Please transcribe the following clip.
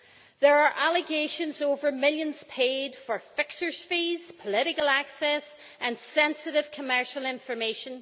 There are allegations over millions paid for fixers' fees, political access and sensitive commercial information.